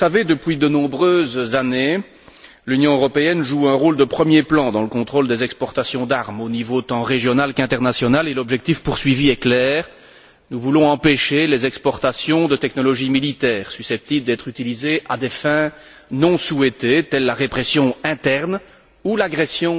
Comme vous le savez, depuis de nombreuses années l'Union européenne joue un rôle de premier plan dans le contrôle des exportations d'armes, aux niveaux tant régional qu'international, et l'objectif poursuivi est clair nous voulons empêcher les exportations de technologies militaires susceptibles d'être utilisées à des fins non souhaitées telles que la répression interne ou l'agression